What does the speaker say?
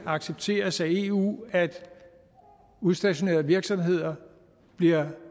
accepteres af eu at udstationerede virksomheder bliver